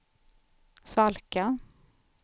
svalka